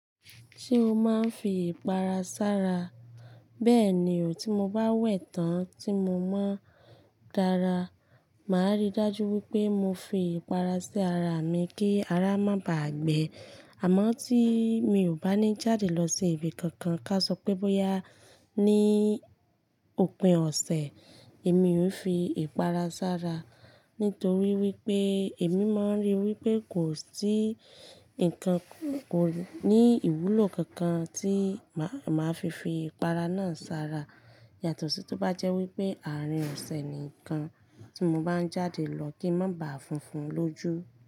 Ṣé o máa ń fi ìpara sára? Bẹ́ẹ̀ni, tí mo bá wẹ̀ tán tí mo mọ́ n dára, màá rí dájú wípé mo fi ìpara sí ara mi kí ara má bàá gbẹ. Àmọ́ tí mi ò bá ní jáde lọ sí ibi kankan, ká a sọ pé bóyá ní òpin ọ̀sẹ̀, èmi ò n fi ìpara sára. Nítorí wípé èmi máa ń rí wípé kò sí ǹkan kan ko ní ìwúlò kankan tí màá fi fi ìpara náà sára. Yàtọ̀ sí tó bá jẹ́ wípé àárín ọ̀sẹ̀ ni kan tí mo bá ń jáde lọ kí ń má bàá funfun lójú.